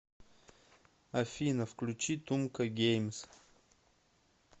афина включи тумка геймс